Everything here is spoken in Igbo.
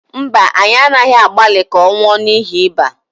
mba, anyị anaghị agbalị ka ọ nwụọ n’ihi ịba